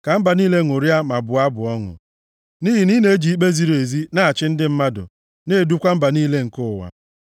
Ka mba niile ṅụrịa ma bụọ abụ ọṅụ, nʼihi na ị na-eji ikpe ziri ezi na-achị ndị mmadụ, na-edukwa mba niile nke ụwa. Sela